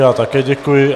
Já také děkuji.